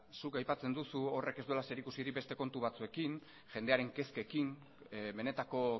zuk aipatzen dugu horrek ez duela zerikusirik beste kontu batzuekin jendearen kezkekin benetako